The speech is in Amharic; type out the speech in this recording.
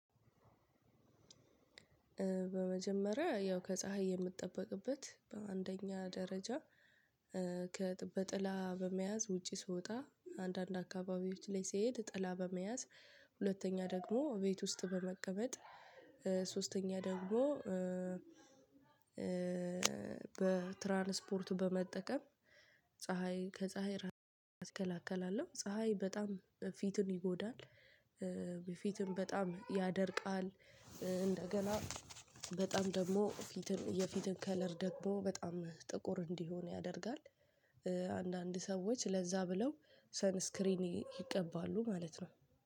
በመጀመሪያ ያው ከፀሀይ የምጠበቅበት በአንደኛ ደረጃ በጥላ በመያዝ ውጪ ስወጣ አንዳንድ አካባቢዎች ላይ ስሄድ ጥላ በመያዝ ሁለተኛ ደግሞ ቤት ውስጥ በመቀመጥ። ሶስተኛ ደግሞ በትራንስፖርቱ በመጠቀም። ፀሀይ ከፀሀይ ራሴን አከላከላለሁ ፀሀይ በጣም ፊቱን ይጎዳል በፊቱም በጣም ያደርቃል። እንደገና በጣም ደግሞ የፊትን የፊትን ከለር ደግሞ በጣም ጥቁር እንዲሆን ያደርጋል። አንዳንድ ሰዎች ለዛ ብለው ሰንስክሪን ይቀባሉ ማለት ነው